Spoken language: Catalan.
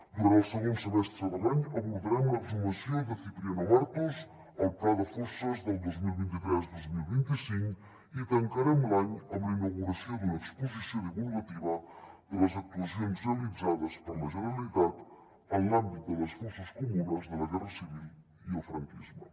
durant el segon semestre de l’any abordarem l’exhumació de cipriano martos al pla de fosses del dos mil vint tres dos mil vint cinc i tancarem l’any amb la inauguració d’una exposició divulgativa de les actuacions realitzades per la generalitat en l’àmbit de les fosses comunes de la guerra civil i el franquisme